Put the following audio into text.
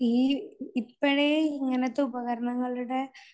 ഈ ഇപ്പഴേ ഇങ്ങനത്തെ ഉപകരണങ്ങളുടെ